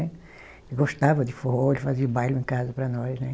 Ele gostava de forró, ele fazia o baile em casa para nós, né.